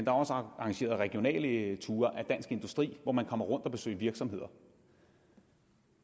er også arrangeret regionale ture af dansk industri og man rundt og besøger virksomheder